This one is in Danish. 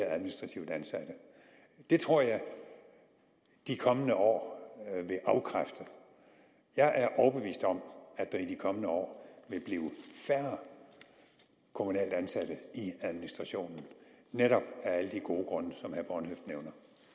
administrativt ansatte det tror jeg de kommende år vil afkræfte jeg er overbevist om at der i de kommende år vil blive færre kommunalt ansatte i administrationen netop af alle de gode grunde som herre